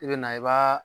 I bɛ na i b'a